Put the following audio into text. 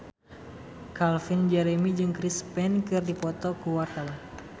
Calvin Jeremy jeung Chris Pane keur dipoto ku wartawan